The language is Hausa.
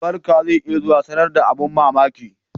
Albarka zai iya zuwa sanar da abin mamaki